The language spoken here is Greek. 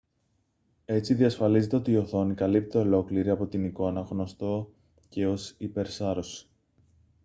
έτσι διασφαλίζεται ότι η οθόνη καλύπτεται ολόκληρη από την εικόνα γνωστό και ως υπερσάρωση